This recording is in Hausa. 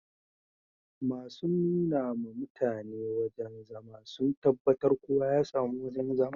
Masun nuna ma mutane wajen zama sun tabatar kowa ya samu wojen zama